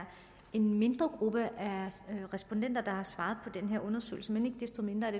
en mindre gruppe af respondenter der har svaret i her undersøgelse men ikke desto mindre er